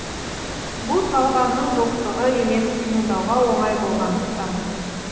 бұл талғамның жоқтығы емес тыңдауға оңай болғандықтан